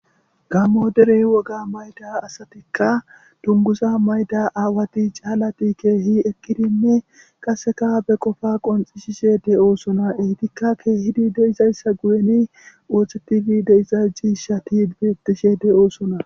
Gamo dere woga mayida asatikka duniguza mayida aawatikka calatikka kehi eqidinne qasekka be qofa qoncisishe deosoonaeyitika kehidi deizayisa guyeni othtetidi deiza cishshati betishe deosoona